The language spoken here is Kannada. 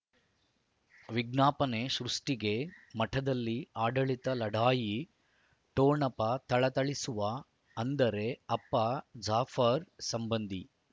ವಿಜ್ಞಾಪನೆ ಸೃಷ್ಟಿಗೆ ಮಠದಲ್ಲಿ ಆಡಳಿತ ಲಢಾಯಿ ಠೊಣಪ ಥಳಥಳಿಸುವ ಅಂದರೆ ಅಪ್ಪ ಜಾಫರ್ ಸಂಬಂಧಿ